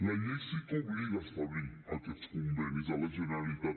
la llei sí que obliga a establir aquests convenis amb la generalitat